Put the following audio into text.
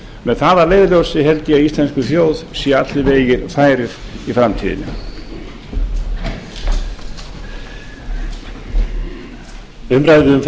með það að leiðarljósi held ég að íslenskri þjóð séu allir vegir færir í framtíðinni